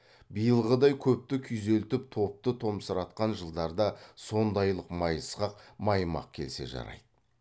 биылғыдай көпті күйзелтіп топты томсыратқан жылдарда сондайлық майысқақ маймақ келсе жарайды